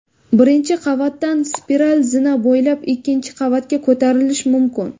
Birinchi qavatdan spiral zina bo‘ylab ikkinchi qavatga ko‘tarilish mumkin.